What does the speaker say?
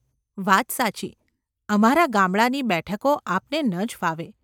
વાત સાચી; અમારા ગામડાંની બેઠકો આપને ન જ ફાવે.